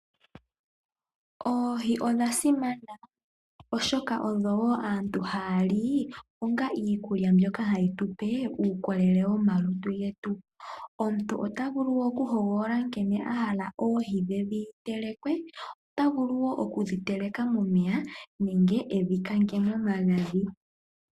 Oohi odha simana oshoka odho woo aantu haya li onga iikulya mbyoka hayi tupe uukolele komalutu getu . Omuntu ota vulu oku hogolola nkene ahala oohi dhe dhi telekwe . Ota vulu woo oku dhi teleka momeya nenge edhi kange momagadhi.